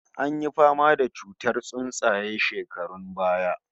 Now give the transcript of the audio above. An yi fama da murar tsuntsaye shekarun baya